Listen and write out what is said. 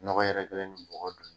Nɔgɔ yɛrɛkɛlen me mɔgɔ dun